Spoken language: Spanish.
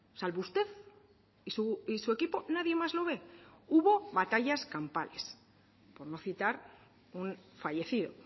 salvo usted y su equipo nadie más lo ve hubo batallas campales por no citar un fallecido